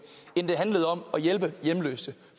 end det handlede om at hjælpe hjemløse